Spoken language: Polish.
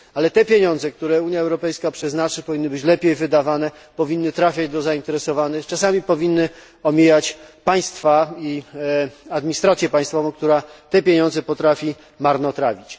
Ale pieniądze, które Unia Europejska na nią przeznaczy, powinny być lepiej wydawane, powinny trafiać do zainteresowanych, czasami powinny omijać państwa i administrację państwową, która te pieniądze potrafi marnotrawić.